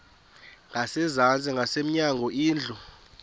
ngasezantsi ngasemnyango indlu